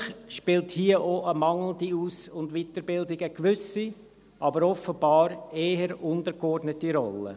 Natürlich spielt hier auch eine mangelnde Aus- und Weiterbildung eine gewisse, aber offenbar eher untergeordnete Rolle.